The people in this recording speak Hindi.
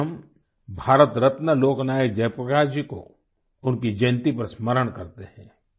इस दिन हम भारत रत्न लोक नायक जय प्रकाश जी को उनकी जयंती पर स्मरण करते हैं